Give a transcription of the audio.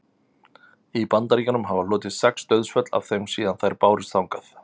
í bandaríkjunum hafa hlotist sex dauðsföll af þeim síðan þær bárust þangað